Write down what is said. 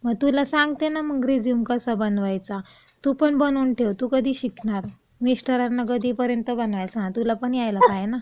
मग तुला सांगते ना मंग रेझ्यूम कसा बनवायचा, तू पण बनवून ठेव, तू कधी शिकणार? मिस्टरांना कधीपर्यंत बनवायला सांगणार? तुला पण यायला पाहिजे ना.